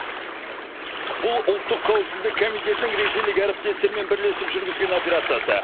бұл ұлттық қауіпсіздік комитетінің ресейлік әріптестерімен бірлесіп жүргізген операциясы